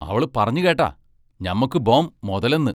അവള് പറഞ്ഞ് കേട്ടാ, ഞമ്മക്കു ബോം മൊതലൊന്ന്?